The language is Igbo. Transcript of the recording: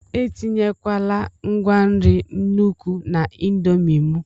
etinyekwala ngwa nri n'nukwu na indomie m!